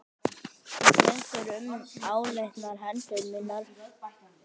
Þú tekur um áleitnar hendur mínar.